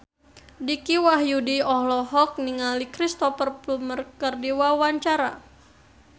Dicky Wahyudi olohok ningali Cristhoper Plumer keur diwawancara